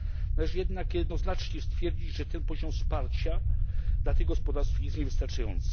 Należy jednak jednoznacznie stwierdzić, że ten poziom wsparcia dla tych gospodarstw jest niewystarczający.